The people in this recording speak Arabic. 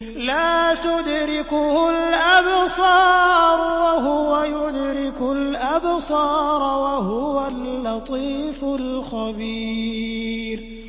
لَّا تُدْرِكُهُ الْأَبْصَارُ وَهُوَ يُدْرِكُ الْأَبْصَارَ ۖ وَهُوَ اللَّطِيفُ الْخَبِيرُ